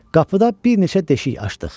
Qapıda bir neçə deşik açdıq.